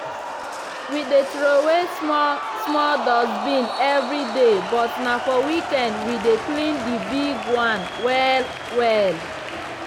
we dey throway small -small dustbin evri day but na for weekend we dey clean di big one well-well.